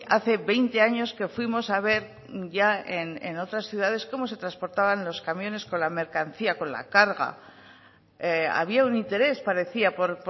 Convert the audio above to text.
hace veinte años que fuimos a ver ya en otras ciudades cómo se transportaban los camiones con la mercancía con la carga había un interés parecía por